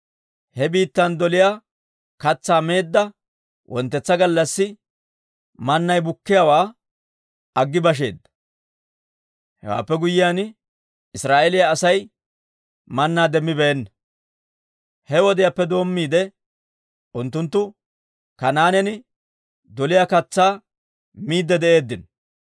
He biittan doliyaa katsaa meedda wonttetsa gallassi mannay bukkiyaawaa aggi basheedda. Hewaappe guyyiyaan Israa'eeliyaa Asay mannaa demmibeenna. He wodiyaappe doommiide unttunttu Kanaanen doliyaa katsaa miidde de'eeddino.